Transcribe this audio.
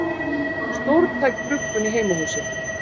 Stórtæk bruggun í heimahúsi